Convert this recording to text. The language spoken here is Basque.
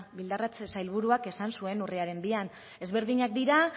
bildarratz sailburuak esan zuen urriaren bian ezberdinak dira